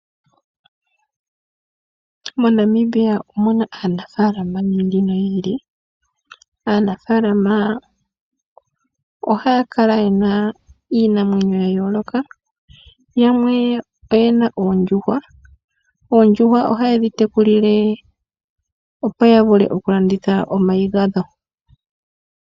MoNamibia omu na aanafaalama yi ili noyi ili. Aanafaalama ohaya kala ye na iinamwenyo ya yooloka. Yamwe oye na oondjuhwa. Oondjuhwa ohaye dhi tekulile opo ya vule okulanditha omayi gadho.